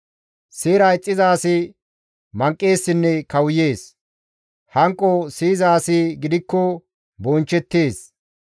Seera ixxiza asi manqeessinne kawuyees; hanqo siyiza asi gidikko bonchchettees.